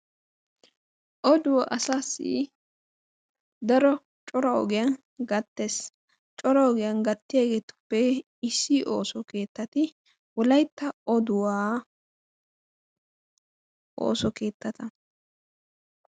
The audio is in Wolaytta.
oduwaa asaassi daro cora ogiyaan gattees. cora ogiyaan gaatiyaagetuppe issi ooso keettati wollaytta oduwaa ooso keettata.